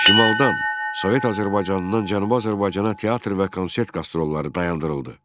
Şimaldan, Sovet Azərbaycanından Cənubi Azərbaycana teatr və konsert qastrolları dayandırıldı.